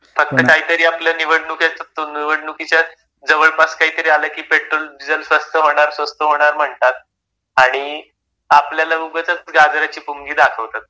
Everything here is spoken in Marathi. फक्त काहीतरी आपलं निवडणुकीचं, निवडणुकीच्या जवळपास काहीतरी आलं कि पेट्रोल डिझेल स्वस्त होणार, स्वस्त होणार म्हणतात आणि आपल्याला उगचंच गाजराची पुंगी दाखवतात.